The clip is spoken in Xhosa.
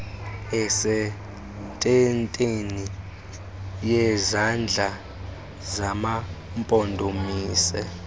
esentendeni yezandla zamampondomise